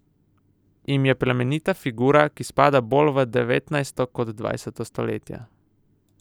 Jim je plemenita figura, ki spada bolj v devetnajsto kot dvajseto stoletje.